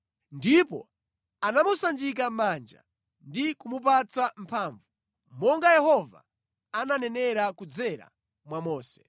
Ndipo anamusanjika manja ndi kumupatsa mphamvu, monga Yehova ananenera kudzera mwa Mose.